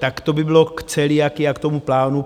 Tak to by bylo k celiakii a k tomu plánu.